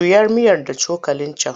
Juya miyar da cokalin can!